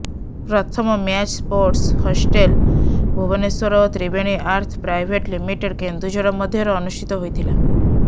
ପ୍ରଥମ match sports hostel Bhubaneswar ଓ Triveni earth private limited Keonjhar ମଧ୍ୟରେ ଅନୁଷ୍ଟିତ ହୋଇଥିଲା